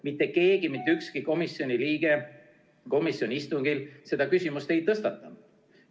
Mitte keegi, mitte ükski komisjoni liige komisjoni istungil seda küsimust ei tõstatanud.